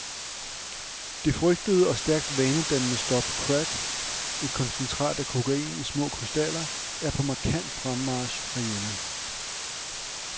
Det frygtede og stærkt vanedannende stof crack, et koncentrat af kokain i små krystaller, er på markant fremmarch herhjemme.